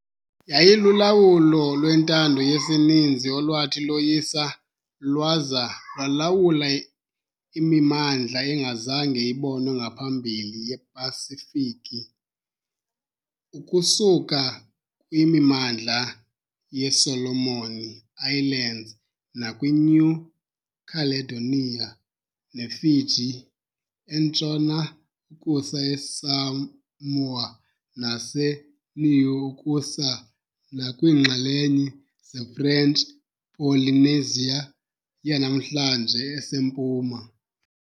Yayilulawulo lwentando yesininzi olwathi loyisa lwaza lwalawula imimandla engazange ibonwe ngaphambili yePasifiki, ukusuka kwimimandla yeSolomon Islands nakwiNew Caledonia neFiji entshona ukusa eSamoa naseNiue ukusa nakwiinxalenye zeFrench Polynesia yanamhlanje esempuma. .